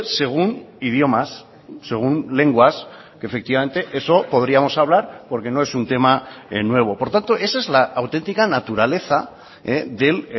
según idiomas según lenguas que efectivamente eso podríamos hablar porque no es un teman nuevo por tanto esa es la autentica naturaleza del